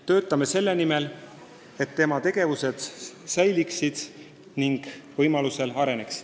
Töötame selle nimel, et kogu see tegevus kestaks ja võimalusel edasi areneks.